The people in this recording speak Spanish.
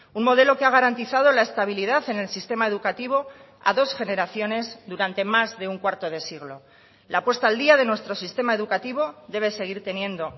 un modelo que ha garantizado la estabilidad en el sistema educativo a dos generaciones durante más de un cuarto de siglo la puesta al día de nuestro sistema educativo debe seguir teniendo